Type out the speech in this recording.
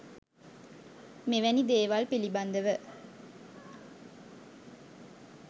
මෙවැනි දේවල් පිළිබඳව